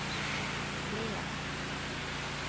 Flen